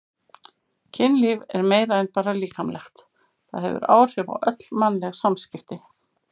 Kynlíf er meira en bara líkamlegt, það hefur áhrif á öll mannleg samskipti.